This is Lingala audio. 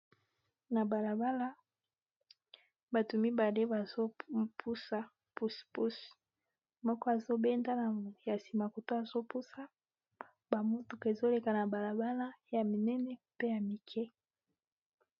na balabala bato mibale bazopusa puse puse moko azobendana ya nsima koto azopusa bamutuk ezoleka na balabala ya minene pe ya mike